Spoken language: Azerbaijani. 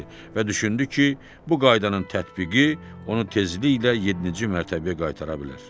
və düşündü ki, bu qaydanın tətbiqi onu tezliklə yeddinci mərtəbəyə qaytara bilər.